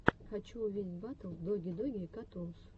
хочу увидеть батл доги доги катунс